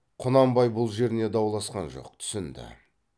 құнанбай бұл жеріне дауласқан жоқ түсінді